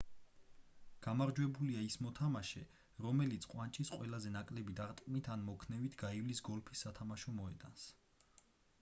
გამარჯვებულია ის მოთამაშე რომელიც ყვანჭის ყველაზე ნაკლები დარტყმით ან მოქნევით გაივლის გოლფის სათამაშო მოედანს